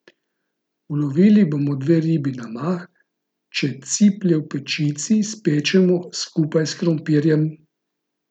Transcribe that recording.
Ulovili bomo dve ribi na mah, če ciplje v pečici spečemo skupaj s krompirjem.